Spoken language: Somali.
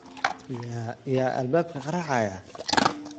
Yaa albaabka garaacaya?